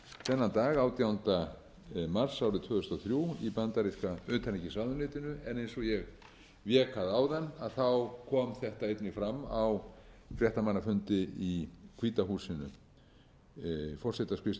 þennan dag átjánda mars árið tvö þúsund og þrjú í bandaríska utanríkisráðuneytinu en eins og ég vék að áðan kom þetta einnig fram á fréttamannafundi í hvíta húsinu forsetaskrifstofunum